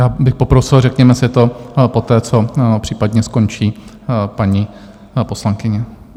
Já bych poprosil, řekněme si to poté, co případně skončí paní poslankyně.